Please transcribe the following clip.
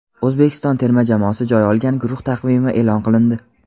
O‘zbekiston terma jamoasi joy olgan guruh taqvimi e’lon qilindi.